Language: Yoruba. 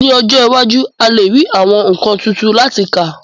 Ní ọjọ́ iwájú, a lè rí àwọn nǹkan tuntun láti kà